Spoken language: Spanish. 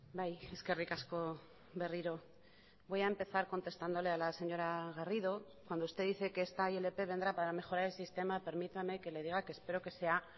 bai eskerrik asko berriro voy a empezar contestándole a la señora garrido cuando usted dice que esta ilp vendrá para mejorar el sistema permítame que le diga que espero que sea